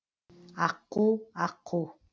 аққу аққу